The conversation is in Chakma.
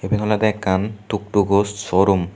iyen olode ekkan tuk tuko showroom.